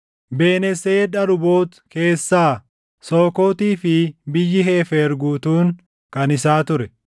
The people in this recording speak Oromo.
Ben-Heseed Aruboot keessaa, Sookootii fi biyyi Heefer guutuun kan isaa ture;